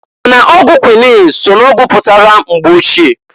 Ma n'ọgwụ kwuinin so n'ọgwụ pụtara mgbe ochie.